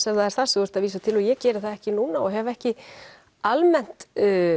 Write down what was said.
ef það er það sem þú ert að vísa til og ég geri það ekki núna og hef ekki almennt